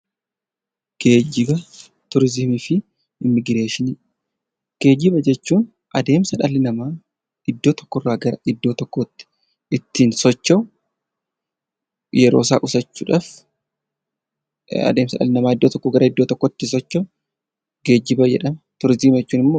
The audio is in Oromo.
Geejjiba jechuun adeemsa dhalli namaa iddoo tokkorraa gara iddoo tokkootti ittiin socho'u yeroo isaa qusachuudhaaf adeemsa dhalli namaa iddoo tokkoo iddoo tokkotti socho'u geejjiba jedhama